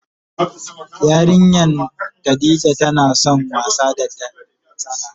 Yarinyan Khadijah tana son wasa da tsana.